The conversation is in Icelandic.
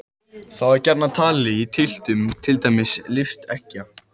Þá er gjarnan talið í tylftum, til dæmis tylft eggja.